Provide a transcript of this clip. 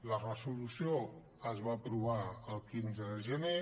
la resolució es va aprovar el quinze de gener